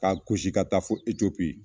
K'a gosi ka taa fo Ecopi.